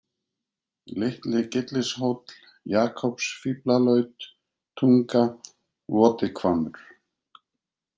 Litli-Gyllishóll, Jakobsfíflalaut, Túnga, Voti-Hvammur